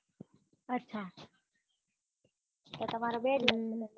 અચ્છા તો તમારે બે